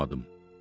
Almadım.